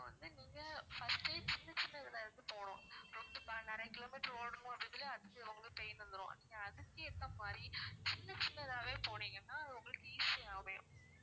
நீங்க first day சின்ன சின்னதுல இருந்து போணும் நிறைய kilometer ஓடுனா அதுக்குள்ளயே ரொம்ப pain வந்துரும் நீங்க அதுக்கு ஏத்த மாதிரி சின்ன சின்னதாவே போனீங்கன்னா அது உங்களுக்கு easy யா அமையும்